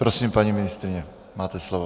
Prosím, paní ministryně, máte slovo.